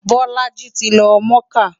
Bolaji ti lọ mọ́kà.